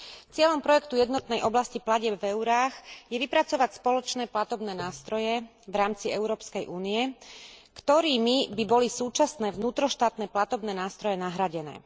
Cieľom projektu jednotnej oblasti platieb v eurách je vypracovať spoločné platobné nástroje v rámci Európskej únie, ktorými by boli súčasné vnútroštátne platobné nástroje nahradené.